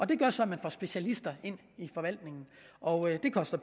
det gør så at man får specialister ind i forvaltningen og det koster